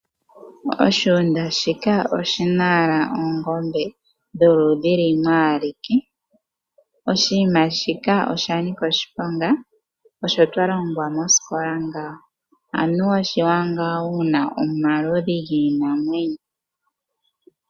Oshigunda shika oshi na owala oongombe dholudhi lumwe ike. Oshinima shika osha nika oshiponga, osho twa longwa mosikola ngaka. Anuwa oshiwanawa wu na omaludhi giinamwenyo.